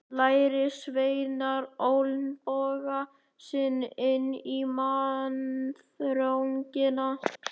Lærisveinarnir olnboga sig inn í mannþröngina.